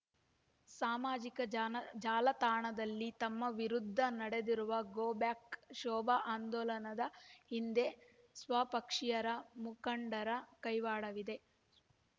ಸಾಮಾಜಿಕ ಜಾನ ಜಾಲತಾಣದಲ್ಲಿ ತಮ್ಮ ವಿರುದ್ಧ ನಡೆದಿರುವ ಗೋ ಬ್ಯಾಕ್ ಶೋಭ ಆಂದೋಲನದ ಹಿಂದೆ ಸ್ವಪಕ್ಷೀಯರ ಮುಖಂಡರ ಕೈವಾಡವಿದೆ